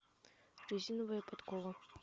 резиновая подкова